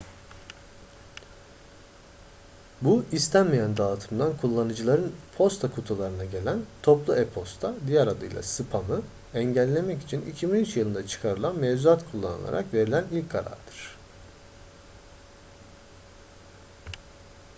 bu istenmeyen dağıtımdan kullanıcıların posta kutularına gelen toplu e-posta diğer adıyla spamı engellemek için 2003 yılında çıkarılan mevzuat kullanılarak verilen ilk karardır